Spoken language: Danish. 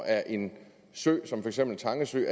er en sø som for eksempel tange sø